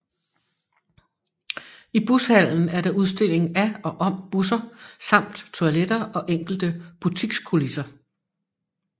I Bushallen er der udstilling af og om busser samt toiletter og enkelte butikskulisser